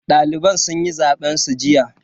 Daliban sun yi zaben su jiya.